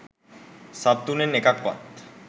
sub තුනෙන් එකක්වත්